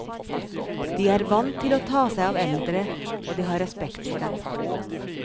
De er vant til å ta seg av eldre og de har respekt for dem.